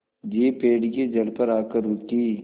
jeep पेड़ की जड़ पर आकर रुकी